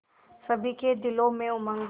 सभी के दिलों में उमंग